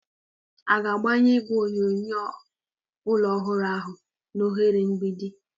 A ga-agbanye igwe onyonyo ụlọ ọhụrụ ahụ na oghere mgbidi?